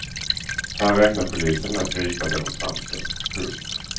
Här räknar polisen med att gripa demonstranter. punkt